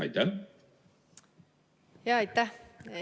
Aitäh!